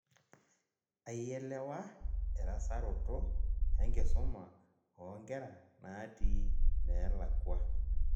Aielewa erasaroto enkisuma oonkera naati neelakua